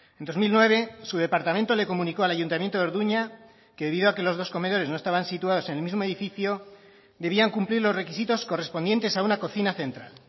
en dos mil nueve su departamento le comunicó al ayuntamiento de orduña que debido a que los dos comedores no estaban situados en el mismo edificio debían cumplir los requisitos correspondientes a una cocina central